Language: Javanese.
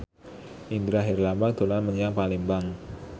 Indra Herlambang dolan menyang Palembang